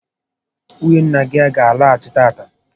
Nwunye nna gị a gá alọghachi tata?